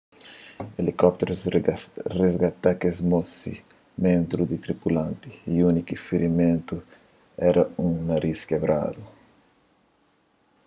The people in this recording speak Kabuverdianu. elikópterus risgata kes dozi ménbru di tripulant y úniku firimentu éra un narís kebradu